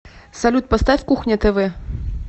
салют поставь кухня тв